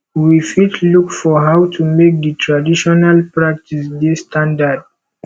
we fit look for how to make di traditional practice dey standard